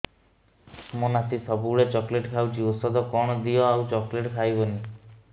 ମୋ ନାତି ସବୁବେଳେ ଚକଲେଟ ଖାଉଛି ଔଷଧ କଣ ଦିଅ ଆଉ ଚକଲେଟ ଖାଇବନି